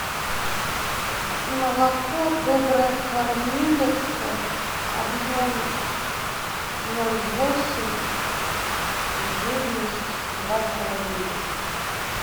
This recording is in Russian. молоко добрая кормилица объем ноль восемь жирность два с половиной